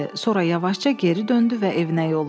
Sonra yavaşca geri döndü və evinə yollandı.